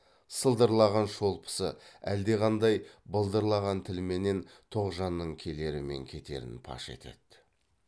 сылдырлаған шолпысы әлдеқандай былдырлаған тілменен тоғжанның келері мен кетерін паш етеді